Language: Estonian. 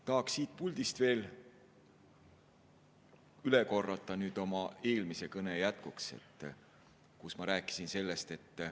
Tahaksin siit puldist oma eelmise kõne jätkuks veel üle korrata seda, mida ma juba rääkisin.